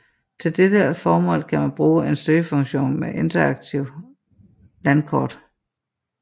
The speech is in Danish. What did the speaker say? Til dette formål kan man bruge en søgefunktion med interaktivt landkort